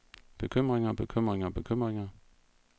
bekymringer bekymringer bekymringer